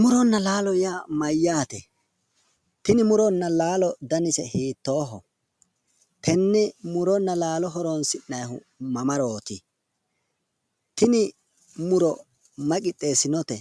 Muronna laalo yaa mayyaate? tini muronna laalo danise hiittooho? tenne muronna laalo horonsi'nayiihu mamarooti? tini muro mayi qixxeessinote?